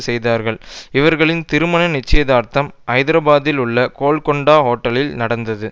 செய்தார்கள் இவர்களின் திருமண நிச்சயதார்த்தம் ஐதராபாத்தில் உள்ள கோல்கொண்டா ஓட்டலில் நடந்தது